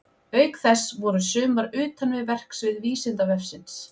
Auk þess voru sumar utan við verksvið Vísindavefsins.